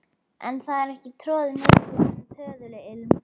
En það er ekki orðið mikið um töðuilm.